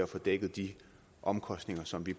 få dækket de omkostninger som vi